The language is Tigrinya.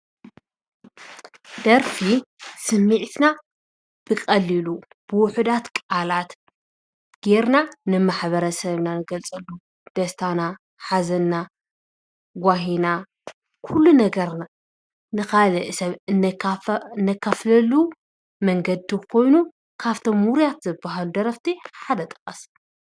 ደርፊ ስምዒትና ብቐሊሉ፣ ብውሕዳት ቃላት ገይርና ንማሕበረሰብና ንገልፀሉ ደስታና፣ ሓዘንና፣ ጓሂና፣ ኩሉ ነገርና ንኻልእ ሰብ እነካፍ ነካፍለሉ መንገዲ ኮይኑ ካፍቶም ውርያት ዝበሃሉ ደረፍቲ ሓደ ጥቀስ?